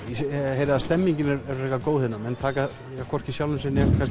heyri að stemmingin er frekar góð hérna menn taka hvorki sjálfum sér né